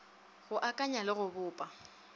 go akanya le go bopa